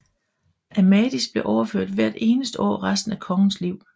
Amadis blev opført hvert eneste år resten af kongens liv